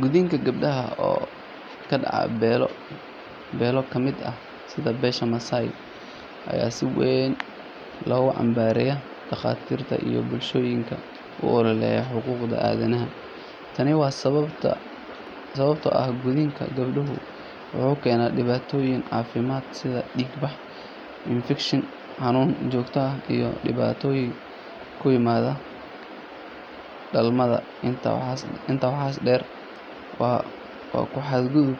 Gudniinka gabdhaha oo ka dhaca beelo ka mid ah sida beesha Maasai ayaa si weyn loogu cambaareeyay dhakhaatiirta iyo bulshooyinka u ololeeya xuquuqda aadanaha. Tani waa sababtoo ah gudniinka gabdhaha wuxuu keenaa dhibaatooyin caafimaad sida dhiig bax, infekshan, xanuun joogto ah iyo dhibaatooyin ku yimaada dhalmada. Intaa waxaa dheer, waa ku xadgudub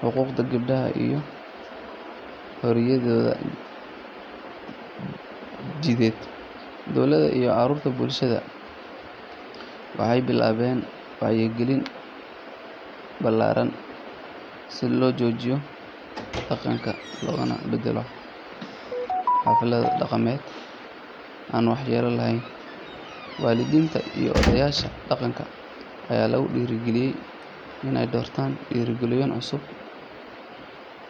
xuquuqda gabadha iyo xorriyadeeda jidheed. Dowladda iyo ururada bulshada waxay bilaabeen wacyigelin ballaaran si loo joojiyo dhaqankan, loogana beddelo xaflado dhaqameed aan waxyeello lahayn. Waalidiinta iyo odayaasha dhaqanka ayaa lagu dhiirrigelinayaa in ay doortaan dariiqooyin cusub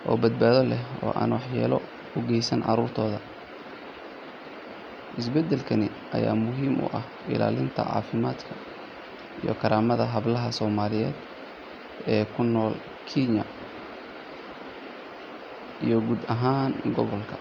oo badbaado leh oo aan waxyeello u geysan carruurtooda. Isbeddelkan ayaa muhiim u ah ilaalinta caafimaadka iyo karaamada hablaha Soomaaliyeed ee ku nool Kenya iyo guud ahaan gobolka.